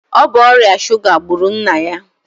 Ọ bụ ọrịa suga gburu nna ya.